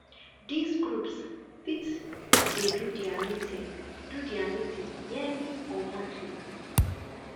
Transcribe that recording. these groups fit de do their meeting do their meeting yearly or monthly